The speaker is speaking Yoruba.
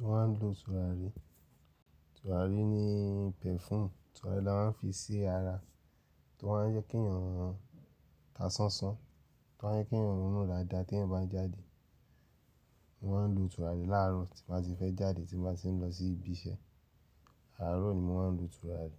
Mo máà ń lo tùràrí. Tùràrí ni pẹ̀fúm. Tùràrí la maa n fi sí ara, tó máa ń jẹ kí eeyan ta ṣánṣán, tó máa ń jẹ kí èyan rún daadá tí ẹ́yan bá n jáde. Mo ma ń lo tùràrí láàrọ̀ tí n ba ti fẹ́ jáde, tí n ba ti ń lọ sí ibi iṣẹ́. Àárọ̀ ni mo ma ń lo tùràrí.